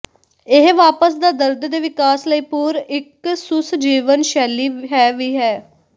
ਇਹ ਵਾਪਸ ਦਾ ਦਰਦ ਦੇ ਵਿਕਾਸ ਲਈ ਪੂਰਿ ਇੱਕ ਸੁਸ ਜੀਵਨ ਸ਼ੈਲੀ ਹੈ ਵੀ ਹੈ